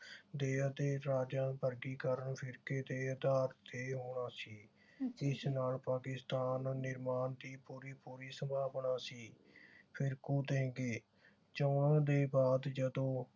ਦੇ ਅਤੇ ਵਰਗੀਕਰਨ ਫਿਰਕੇ ਦੇ ਆਧਾਰ ਤੇ ਆਉਣਾ ਸੀ। ਇਸ ਨਾਲ ਪਾਕਿਸਤਾਨ ਨਿਰਮਾਣ ਦੀ ਪੂਰੀ ਪੂਰੀ ਸੰਭਾਵਨਾ ਸੀ। ਫਿਰ ਚੋਣਾਂ ਦੇ ਬਾਅਦ ਜਦੋਂ